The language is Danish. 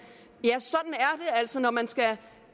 altså når man skal